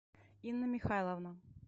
инна михайловна